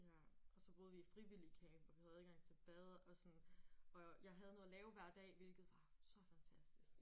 Ja. Og så boede vi i frivilligcamp og vi havde adgang til bad og sådan og jeg have noget at lave hver dag hvilket var så fantastisk